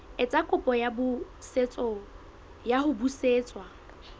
etsa kopo ya ho busetswa